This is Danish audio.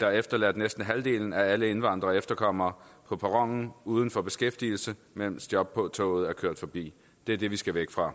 der har efterladt næsten halvdelen af alle indvandrere og efterkommere på perronen uden for beskæftigelse mens jobtoget er kørt forbi det er det vi skal væk fra